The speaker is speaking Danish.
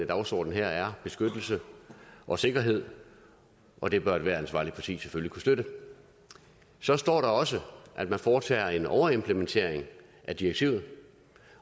dagsorden her er beskyttelse og sikkerhed og det bør ethvert ansvarligt parti selvfølgelig støtte så står der også at man foretager en overimplementering af direktivet